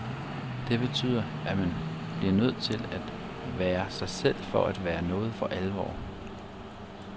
Det betyder, at man bliver nødt til at være sig selv for at være noget for alvor.